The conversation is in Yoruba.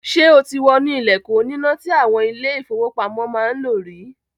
Ṣé o ti wọnú ilẹ̀kùn oníná tí àwọn ilé-ìfowópamọ́ máa ń lò rí?